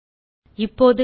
இப்போது கன்ட்ரோல்